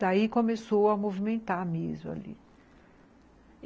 Daí começou a movimentar mesmo ali.